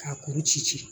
K'a kuru ci ci